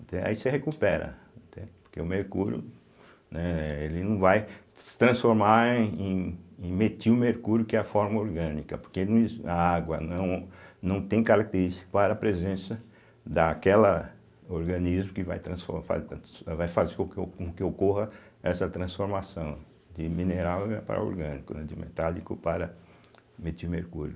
Aí você recupera, entende, porque o mercúrio, né, ele não vai se transformar em em metil mercúrio que é a forma orgânica, porque no a água não não tem característica para a presença daquela organismo que vai transfor fa trans vai faz com que oco com que ocorra essa transformação de mineral, né, para orgânico, né, de metálico para metil mercúrio.